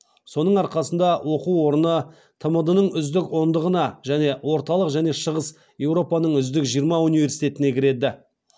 соның арқасында оқу орны тмд ның үздік ондығына және орталық және шығыс еуропаның үздік жиырма университетіне кіреді